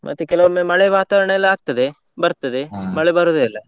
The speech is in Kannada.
ಮತ್ತೆ ಕೆಲವೊಮ್ಮೆ ಮಳೆ ವಾತಾವರ್ಣ ಎಲ್ಲಾ ಆಗ್ತದೆ ಬರ್ತದೆ ಮಳೆ ಬರುದೇ ಇಲ್ಲ.